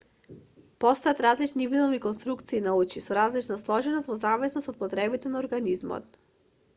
постојат различни видови конструкции на очи со различна сложеност во зависност од потребите на организмот